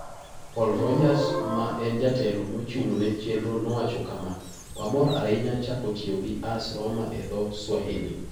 Paul Rogers, ma en jatelo mochung' ne chenro nowacho kama: "Wamor ahinya chako tiyo gi AS Roma e dho Swahili.